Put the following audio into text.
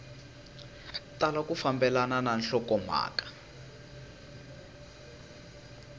tala ku fambelana na nhlokomhaka